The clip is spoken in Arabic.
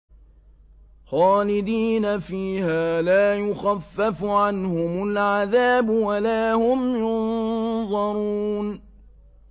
خَالِدِينَ فِيهَا ۖ لَا يُخَفَّفُ عَنْهُمُ الْعَذَابُ وَلَا هُمْ يُنظَرُونَ